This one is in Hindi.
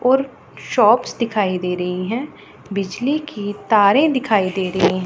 और शॉप्स दिखाई दे रही है बिजली के तारे दिखाई दे रही हैं।